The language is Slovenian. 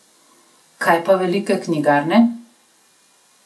Kaj pa velike knjigarne?